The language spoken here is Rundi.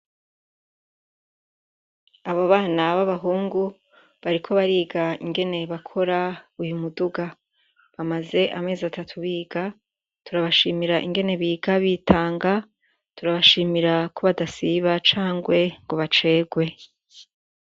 Abo bana bo abahungu bariko bariga ingene bakora uyu muduga bamaze amezi atatu biga turi abashimira ingene biga bitanga turiabashimira ku badasiba cangwe ngo bacerwe.